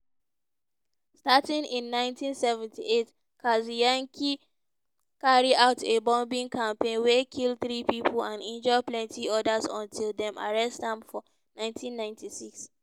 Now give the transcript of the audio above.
starting in 1978 kaczynski carry out a bombing campaign wey kill three people and injure plenty others until dem arrest am for 1996.